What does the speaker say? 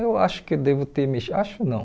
Eu acho que devo ter mexi... Acho não.